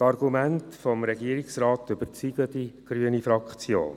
Die Argumente des Regierungsrates überzeugen die grüne Fraktion.